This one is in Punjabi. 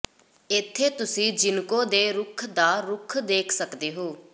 ਇੱਥੇ ਤੁਸੀਂ ਜਿਿੰਕੋ ਦੇ ਰੁੱਖ ਦਾ ਰੁੱਖ ਦੇਖ ਸਕਦੇ ਹੋ